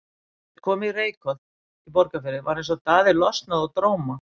Er þeir komu í Reykholt í Borgarfirði var eins og Daði losnaði úr dróma.